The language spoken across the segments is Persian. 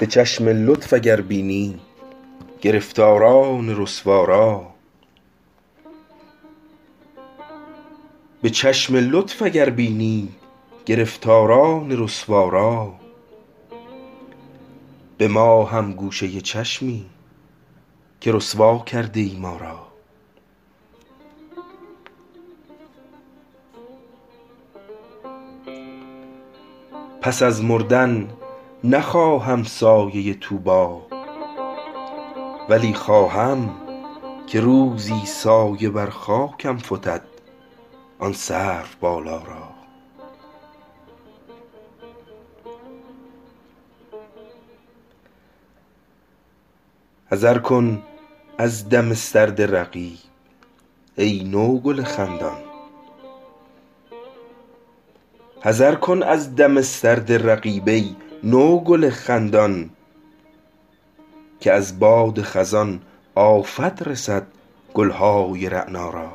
به چشم لطف اگر بینی گرفتاران رسوا را به ما هم گوشه چشمی که رسوا کرده ای ما را پس از مردن نخواهم سایه طوبی ولی خواهم که روزی سایه بر خاکم فتد آن سرو بالا را حذر کن از دم سرد رقیب ای نوگل خندان که از باد خزان آفت رسد گل های رعنا را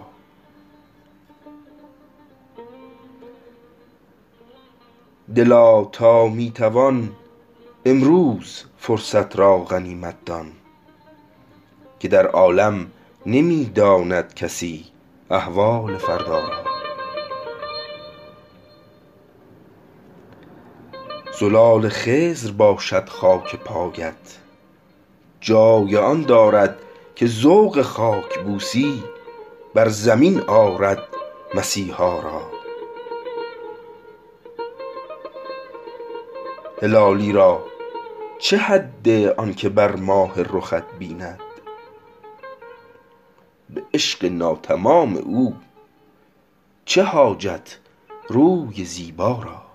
دلا تا می توان امروز فرصت را غنیمت دان که در عالم نمی داند کسی احوال فردا را زلال خضر باشد خاک پایت جای آن دارد که ذوق خاکبوسی بر زمین آرد مسیحا را هلالی را چه حد آنکه بر ماه رخت بیند به عشق ناتمام او چه حاجت روی زیبا را